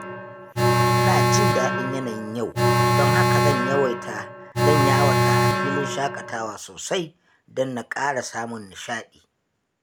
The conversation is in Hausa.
Ina jin daɗin yanayin yau, don haka zan yawata a filin shaƙatawa sosai don na ƙara samun nishaɗi.